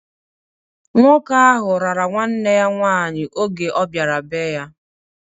Nwoke ahụ rara nwanne ya nwaanyị oge ọbiara be-ya.